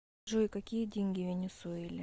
джой какие деньги в венесуэле